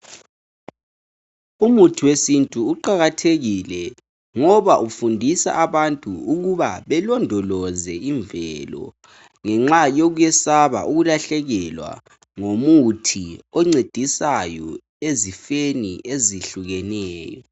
Umuthi wesintu uqakathekile ngoba ufundisa abantu ukuba balondoloze imvelo. Ngenxa yokwesaba ukulahlekelwa ngomuthi oncedisayo ezifeni ezehlukeneyo.